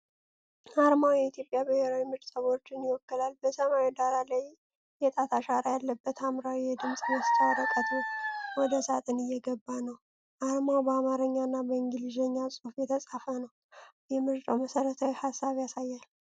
አርማው የኢትዮጵያ ብሔራዊ ምርጫ ቦርድን ይወክላል። በሰማያዊ ዳራ ላይ የጣት አሻራ ያለበት ሐምራዊ የድምፅ መስጫ ወረቀት ወደ ሳጥን እየገባ ነው። አርማው በአማርኛ እና በእንግሊዝኛ ቋንቋ የተጻፈ ነው። የምርጫን መሠረታዊ ሀሳብ ያሳያል።